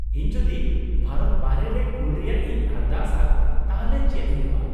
-ᱤᱧ ᱡᱩᱫᱤ ᱵᱷᱟᱨᱚᱛ ᱵᱟᱨᱦᱮ ᱨᱮ ᱠᱩᱞ ᱨᱮᱭᱟᱜ ᱤᱧ ᱟᱨᱫᱟᱥᱟ ᱛᱟᱦᱞᱮ ᱪᱮᱫ ᱦᱩᱭᱩᱜᱼᱟ ?